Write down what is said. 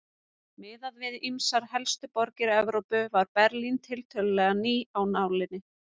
Miðað við ýmsar helstu borgir Evrópu var Berlín tiltölulega ný af nálinni.